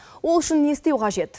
ол үшін не істеу қажет